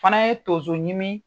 Fana ye tonso ɲimi